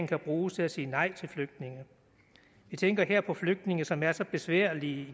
kan bruges til at sige nej til flygtninge vi tænker her på flygtninge som er så besværlige